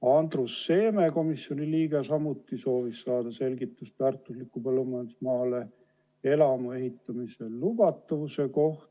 Andrus Seeme, komisjoni liige, soovis saada selgitust väärtuslikule põllumajandusmaale elamu ehitamise lubatavuse kohta.